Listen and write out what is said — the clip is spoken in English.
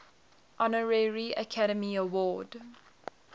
honorary academy award